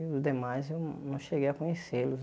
E o demais eu não cheguei a conhecê-los.